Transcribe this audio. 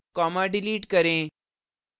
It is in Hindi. comma डिलीट करें